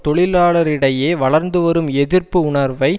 தொழிலாளரிடையே வளர்ந்து வரும் எதிர்ப்பு உணர்வை